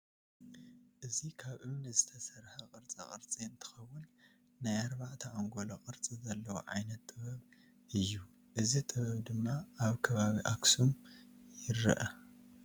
እዚ ካብ እምኒ ዝተሰረሐ ቅርፃ ቅረፂ እንትከውን ናይ ኣርባዕተ ኣንጎሎ ቅርፂ ዘለዎ ዓይነት ጥበብ እይ እዚ ጥበብ ድማ ኣብ ከባቢ ኣክሱም የረኣ።